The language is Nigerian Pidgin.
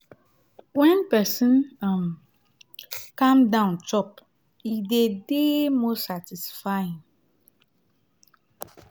when person um calm down chop e dey dey more satisfying